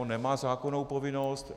On nemá zákonnou povinnost.